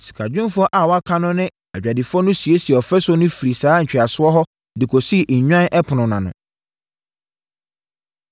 Sikadwumfoɔ a wɔaka no ne adwadifoɔ no siesiee ɔfasuo no firii saa ntweasoɔ hɔ de kɔsii Nnwan Ɛpono no ano.